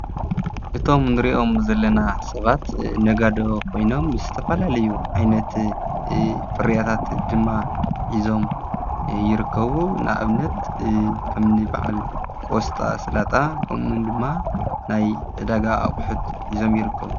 እቶም ንርእዮም ዘለና ሰባት ነጋዶ ኾይኖም ይስተፋላለዩ ዓይነቲ ፍርያታት ድማ ኂዞም ይርከቡ ንእብነት ከምኒ በዓል ቊወስጣ ሥላጣ ከምን ድማ ናይ ደጋ ኣቝሑት ኂዞም ይርከቡ::